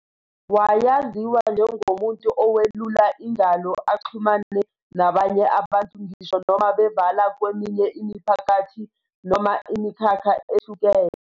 Wayaziwa njengomuntu owelula ingalo axhumane nabanye abantu ngisho noma bevala kweminye imiphakathi noma imikhakha ehlukene.